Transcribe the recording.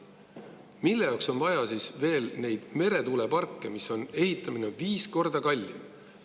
Mille jaoks on vaja siis veel meretuuleparke, mille ehitamine on viis korda kallim?